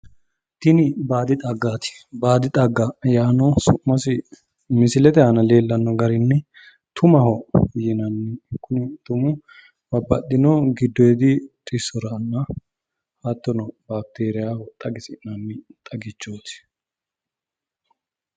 Tini baadi xaggaati baadi xagga yaano su'masi misilete aana leellanno garinni tumaho yinanni kuni tumuno babbaxxino giddoyiidi xissoranna hattono bakiteriiyaho xagisi'nanni xagichooti.